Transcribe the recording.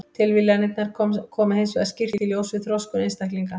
Tilviljanirnar koma hins vegar skýrt í ljós við þroskun einstaklinga.